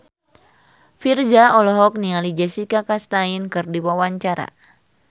Virzha olohok ningali Jessica Chastain keur diwawancara